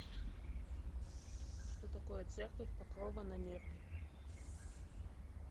что такое церковь покрова на нерли